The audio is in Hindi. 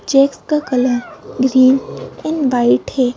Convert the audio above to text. चैक्स का कलर ग्रीन एंड वाइट है।